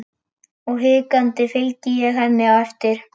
Og hikandi fylgi ég henni eftir.